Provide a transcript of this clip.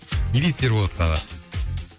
не дейсіз ерболатқа аға